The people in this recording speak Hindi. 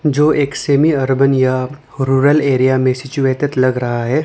जो एक सेमी अर्बन या रूरल एरिया में सिचुएटेड लग रहा है।